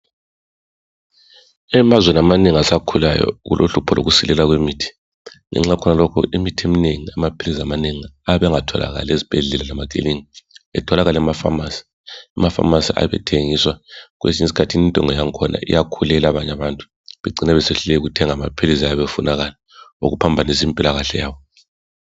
Emazweni amanengi asakhulayo kulohlupho lokusilela kwemithi. Ngenxa yakhona lokho imithi eminengi, amaphilizi amanengi ayabe engatholakali ezibhedlela lemakilinika etholakala emafamasi. Emafamasi ayabe ethengiswa, kwesinye isikhathi intengo yakhona iyakhulela abanye abantu bacine sebesehluleka ukuthenga amaphilizi ayabe efunakala okuphambanisa impilakahle yabo.